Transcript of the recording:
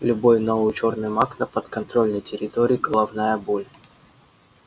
любой новый чёрный маг на подконтрольной территории головная боль